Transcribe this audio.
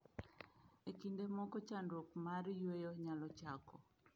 E kinde moko chandruok mar yueyo nyalo chako